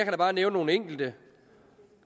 bare nævne nogle enkelte